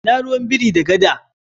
Ina ruwan biri da gada?